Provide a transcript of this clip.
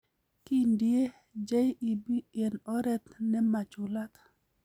Kindie JEB in oret nemachulat.